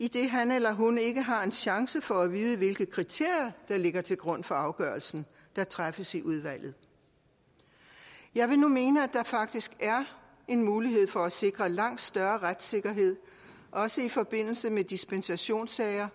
idet han eller hun ikke har en chance for at vide hvilke kriterier der ligger til grund for afgørelsen der træffes i udvalget jeg vil nu mene at der faktisk er en mulighed for at sikre langt større retssikkerhed også i forbindelse med dispensationssager